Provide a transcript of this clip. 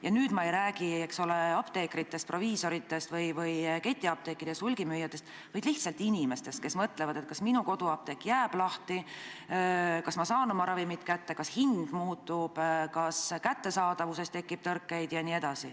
Ja nüüd ei räägi ma, eks ole, mitte apteekritest, proviisoritest, ketiapteekidest ega hulgimüüjatest, vaid lihtsalt inimestest, kes mõtlevad, kas nende koduapteek jääb lahti, kas nad saavad oma ravimid kätte, kas hind muutub, kas kättesaadavuses tekib tõrkeid jne.